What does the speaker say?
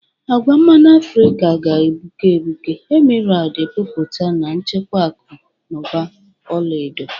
Agwa mmanụ Afrika ga-egbuke egbuke, emeraldu epupụta na-echekwa akụ na ụba ọla edo.